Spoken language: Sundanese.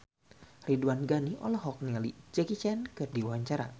Ridwan Ghani olohok ningali Jackie Chan keur diwawancara